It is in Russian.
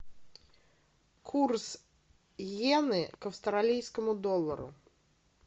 курс йены к австралийскому доллару